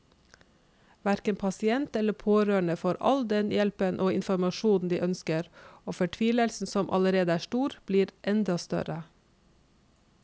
Hverken pasient eller pårørende får den hjelpen og informasjonen de ønsker, og fortvilelsen som allerede er stor, blir enda større.